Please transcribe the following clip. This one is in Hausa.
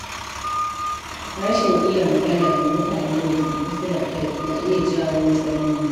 Rashin iya magana da mutanen da ke kusa da kai na iya jawo matsaloli.